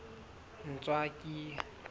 ntswaki